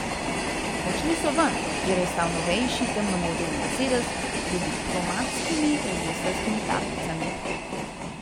Odšli so ven, kjer je stal novejši temno modri mercedes z diplomatskimi registrskimi tablicami.